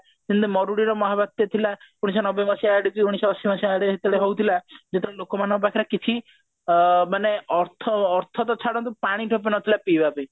ସେମତି ମରୁଡ଼ିର ମହାବାତ୍ୟା ଥିଲା ଉଣେଇଶିଶହ ନବେ ମସିହା ଆଡିକି ଉଣେଇଶିଶହ ଅଶି ମସିହା ଆଡେ ଯେତେବେଳେ ହଉଥିଲା ଯେତେବେଳେ ଲୋକମାନଙ୍କ ପାଖରେ କିଛି ଅ ମାନେ ଅର୍ଥ ଅର୍ଥ ତ ଛାଡନ୍ତୁ ପାଣି ଟୋପେ ନଥିଲା ପିଇବା ପାଇଁ